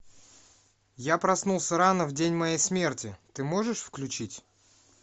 я проснулся рано в день моей смерти ты можешь включить